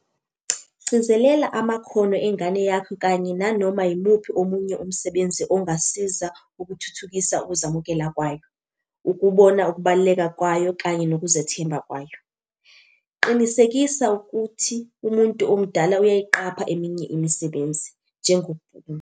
Gcizelela amakhono engane yakho kanye nanoma yimuphi omunye umsebenzi ongasiza ukuthuthukisa ukuzamukela kwayo, ukubona ukubaluleka kwayo kanye nokuzethemba kwayo. Qinisekisa ukuthi umuntu omdala uyayiqapha eminye imisebenzi, njengokubhukuda.